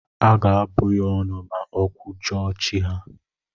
Aga abụ ya ọnụ ma o kwujọọ chi ha.